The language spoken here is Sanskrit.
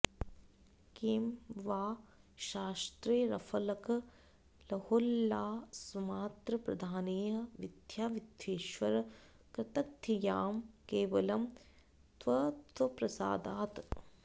किं वा शास्त्रैरफलकलहोल्लासमात्रप्रधानैः विद्या विद्येश्वर कृतधियां केवलं त्वत्प्रसादात्